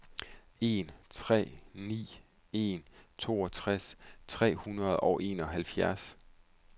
en tre ni en toogtres tre hundrede og enoghalvfjerds